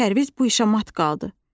Pərviz bu işə mat qaldı.